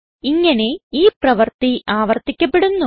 ഇങ്ങനെ ഈ പ്രവർത്തി ആവർത്തിക്കപ്പെടുന്നു